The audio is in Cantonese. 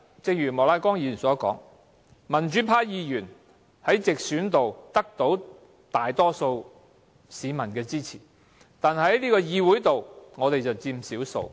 正如莫乃光議員剛才所說，雖然民主派議員在直選中獲大多數市民支持，在議會內卻佔少數。